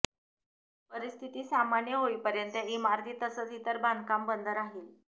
परिस्थिती सामान्य होईपर्यंत इमारती तसंच इतर बांधकाम बंद राहिल